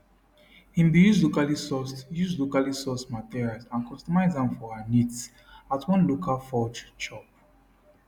im bin use locallysourced use locallysourced materials and customise am for her needs at one local forge shop